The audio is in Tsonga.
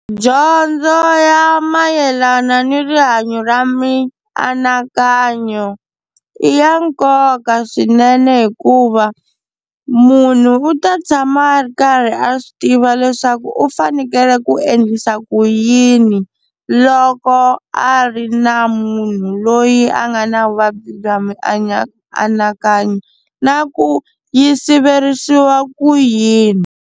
Dyondzo ya mayelana ni rihanyo ra mianakanyo i ya nkoka swinene hikuva munhu u ta tshama a ri karhi a swi tiva leswaku u fanekele ku endlisa ku yini loko a ri na munhu loyi a nga na vuvabyi bya mianakanyo na ku yi siveriwa ku yini.